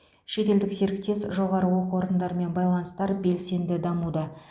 шетелдік серіктес жоғары оқу орындарымен байланыстар белсенді дамуда